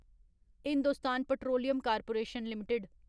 Hindustan Petroleum Corporation limited